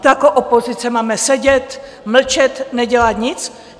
To jako opozice máme sedět, mlčet, nedělat nic?